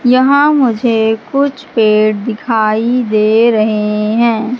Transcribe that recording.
यहां मुझे कुछ पेड़ दिखाई दे रहे हैं।